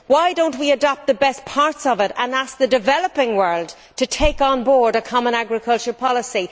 Why do we not adopt the best parts of it and ask the developing world to take onboard a common agricultural policy?